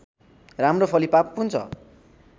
राम्रो फलिफाप हुन्छ